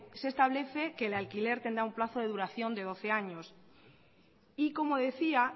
se establece que el alquiler tendrá un plazo de duración de doce años y como decía